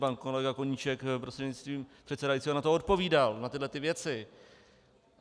Pan kolega Koníček, prostřednictvím předsedajícího, na to odpovídal, na tyto věci.